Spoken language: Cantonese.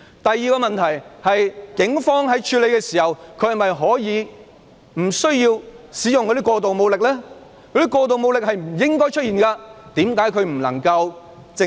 第二個問題是，警方在處理過程中不需要使用過度武力，過度的武力是不應出現的。